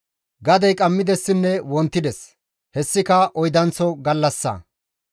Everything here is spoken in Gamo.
Gadey qammidessinne wontides; hessika oydanththo gallassa.